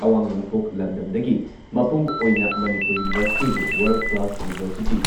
ꯑꯋꯥꯡ ꯅꯣꯡꯄꯣꯛ ꯂꯝꯗꯝꯗꯒꯤ ꯃꯄꯨꯡ ꯑꯣꯏꯅ ꯃꯅꯤꯄꯨꯔ ꯌꯨꯅꯤꯚꯔꯁꯤꯇꯤꯕꯨ ꯋꯔꯜꯗ ꯀ꯭ꯂꯥꯁ ꯌꯨꯅꯤꯚꯔꯁꯤꯇꯤ